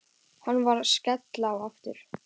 Hann var að skella á aftur.